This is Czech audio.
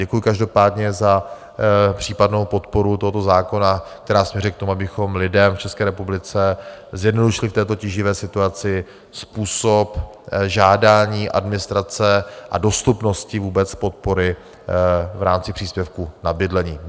Děkuji každopádně za případnou podporu tohoto zákona, která směřuje k tomu, abychom lidem v České republice zjednodušili v této tíživé situaci způsob žádání, administrace a dostupnosti vůbec podpory v rámci příspěvku na bydlení.